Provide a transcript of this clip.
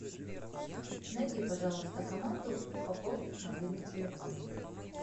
найди пожалуйста команду пополнить мобильный телефон